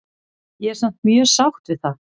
Ég er samt mjög sátt við það.